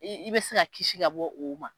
I bɛ se ka kisi ka bɔ o ma.